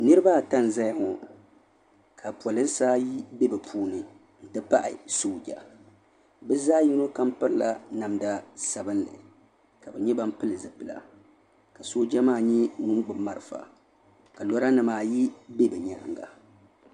Niriba ata n zaya ŋɔ ka polinsi ayi be bɛ puuni n ti pahi sooja bɛ zaɣa yino kam pirila namda sabinli ka bɛ nyɛ ban pili zipila ka sooja maa nyɛ ŋun gbibi marafa ka lora nima ayi be bɛ nyaanga.